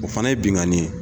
O fana ye binganin ye.